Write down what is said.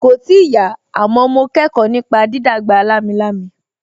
Kòì tíì yá, àmọ́ mo kẹ́kọ̀ọ́ nípa dídàgbà lámilámi